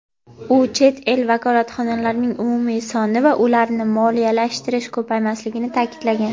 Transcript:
u chet el vakolatxonalarining umumiy soni va ularni moliyalashtirish ko‘paymasligini ta’kidlagan.